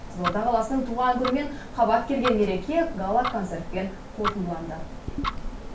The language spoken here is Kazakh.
қызылорда қаласының туған күнімен қабат келген мереке гала концертпен қорытындыланды